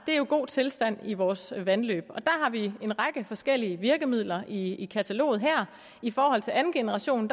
er en god tilstand i vores vandløb og har vi en række forskellige virkemidler i kataloget i forhold til anden generation